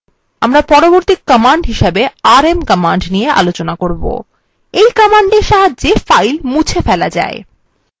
আমরা পরবর্তী command rm command দেখব এই command সাহায্যে files মুছে ফেলা যায়